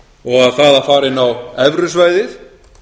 og að það að fara inn á evrusvæðið